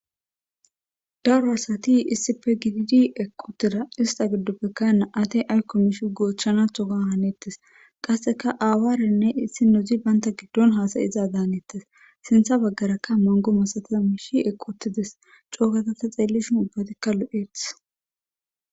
Daro asathi issipe gididi eqquuththida; issa giddoppekka naa7athi ayssa miisshako goochchaanaadon haneeththes; qassika aawaaranne issinozi banththa giddon haasayizaazaaneththes; sinththa baggarakka manggo masathiza miththay eqquuththi des; coo gada tha xeellishen ubbathikka lo7eeththes.